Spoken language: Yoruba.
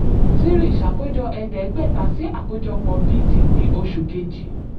3. ṣàkójọ ẹ̀ẹ́dẹ́gbẹ̀ta sí àkójọpọ̀ b/d ní oṣù kejì.